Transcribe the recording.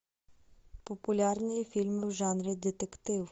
популярные фильмы в жанре детектив